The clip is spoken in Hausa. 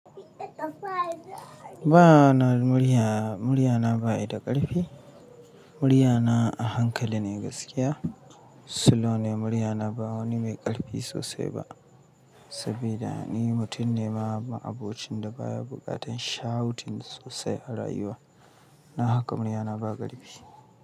Ba ana murya, muryana ba yi da ƙarfi. Muryana a hankaline gaskiya, slow ne muryana ba wani mai ƙarfi sosai ba. Sabida ni mutum ne ma'abocinda baya buƙatan shouting sosai a rayuwa. Na haka muryana ba ƙarfi.